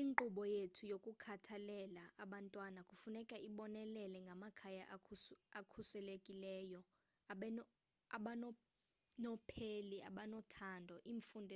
inkqubo yethu yokukhathalela abantwana kufuneka ibonelele ngamakhaya akhuselekileyo abanonopheli abanothando imfundo